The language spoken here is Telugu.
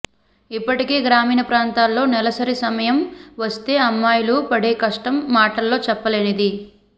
ఇప్పటికీ గ్రామీణ ప్రాంతాల్లో నెలసరి సమయం వస్తే అమ్మాయిలు పడే కష్టం మాటల్లో చెప్పలేనిది